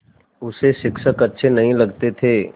उसे शिक्षक अच्छे नहीं लगते थे